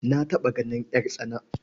Na taɓa ganin ƴartsana.